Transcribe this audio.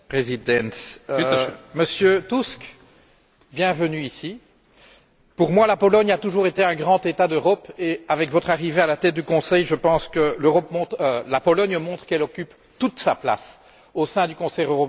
Monsieur le Président, Monsieur Tusk, bienvenue ici. Pour moi, la Pologne a toujours été un grand État d'Europe et, avec votre arrivée à la tête du Conseil, je pense que la Pologne montre qu'elle occupe toute sa place au sein du Conseil européen.